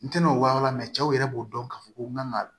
N tɛna o walan mɛ cɛw yɛrɛ b'o dɔn k'a fɔ ko n kan ka